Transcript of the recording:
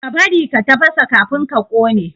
Ka bari ka tafasa kafin ka kone!